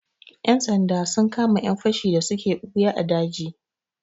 Ƴan sanda sun kama ƴan fashi da suke ɓuya a daji.